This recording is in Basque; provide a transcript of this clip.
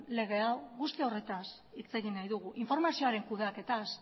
lege hau guzti horretaz hitz egin nahi dugu informazioaren kudeaketaz